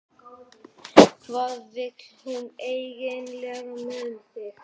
Hvað vill hún eiginlega með þig?